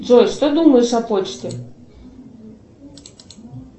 джой что думаешь о почте